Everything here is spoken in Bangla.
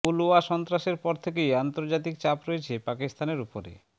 পুলওয়া সন্ত্রাসের পর থেকেই আন্তর্জাতিক চাপ রয়েছে পাকিস্তানের উপরে